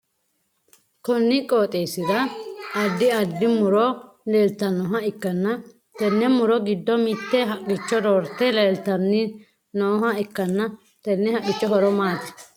Konni qooxeesira addi addi muro leltanoha ikanna tenne muro gidonni mite haqichi roorte leeltanni nooha ikanna tenne haqicho horo maati?